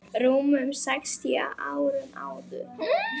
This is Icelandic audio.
rúmum sextíu árum áður.